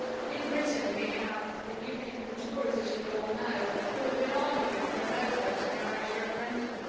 In Britain we have the UKIP and the Tories who, as you will all know, have been arguing for a no' vote in the Irish referendum.